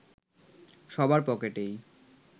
সবার পকেটেই